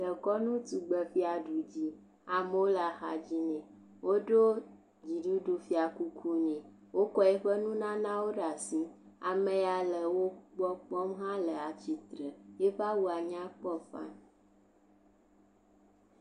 Dekɔnutɔgbefia ɖu ʋi. amewo le axa dzi nɛ. Woɖo dziɖuɖu fiakuku nɛ. Wokɔ eƒe nunanawo ɖe asi. Am ya le wogbɔ kpɔm la hã le tsitre. Yiƒe awuaweo hã nyakpɔ fani.